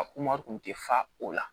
A kun ti fa o la